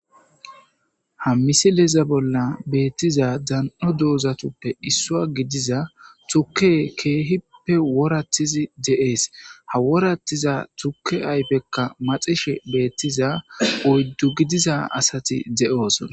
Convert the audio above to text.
Ha misileza bolla beettiza dan'o doozatuppe issuwa gidiza tuke keehippe woratizi de'ees. ha woratiza tuke ayfekka maxishe beettiza oyddu gidiza asati de'oosona.